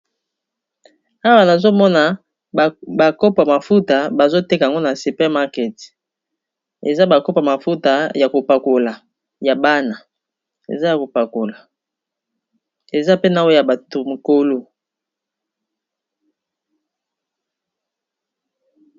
Awa nazomona ba kopo ya mafuta bazo teka yango na super market eza ba kopo ya mafuta ya kopakola ya bana eza ya kopakola eza pe na o ya bato mokolo.